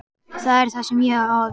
Það er það sem ég á við.